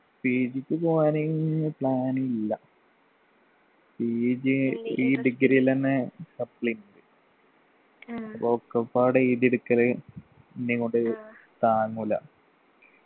PG ക്ക് പോകാന് plan ഇല്ല PG ഈ degree ൽ എന്നെ supply ഇണ്ട് ഒക്കെപ്പാടെ എഴുതിയടിക്കല് എന്നേം കൊണ്ട് താങ്ങൂല